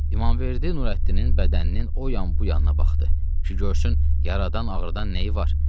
İmamverdi Nurəddinin bədəninin o yan bu yanına baxdı ki, görsün yaradan ağrıdan nəyi var.